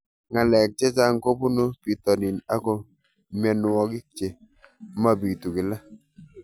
Ng'alek chechang' kopunu pitonin ako mianwogik che mapitu kila